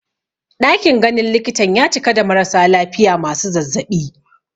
Ɗakin ganin likitan ya cika da marasa lafiya masu zazzaɓi